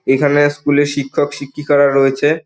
এখানে স্কুল -এ শিক্ষক শিক্ষিকারা রয়েছে।